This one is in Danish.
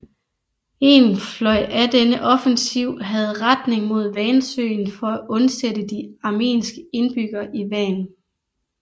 En fløj af denne offensiv havde retning mod Vansøen for at undsætte de armenske indbyggere i Van